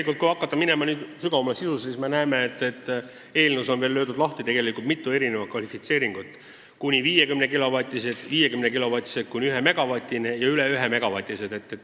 Kui nüüd hakata sügavamale sisusse minema, siis me näeme, et eelnõus on tegelikult mitu erinevat kvalifitseeringut: kuni 50-kilovatised, 50 kilovatist kuni 1 megavatini ja üle 1-megavatised.